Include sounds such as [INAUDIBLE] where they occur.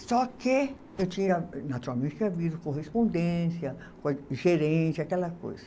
Só que eu tinha, naturalmente, havido correspondência, [UNINTELLIGIBLE] gerente, aquela coisa.